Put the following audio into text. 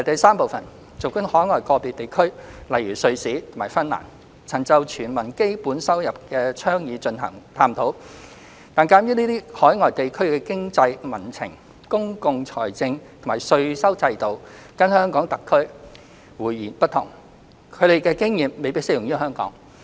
三儘管海外個別地區曾就"全民基本收入"的倡議進行探討，但鑒於這些海外地區的經濟民情、公共財政或稅收制度跟香港特區迥然不同，他們的經驗未必適用於香港。